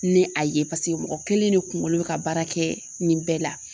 Ni a ye paseke mɔgɔ kelen de kuŋolo be ka baara kɛ nin bɛɛ la.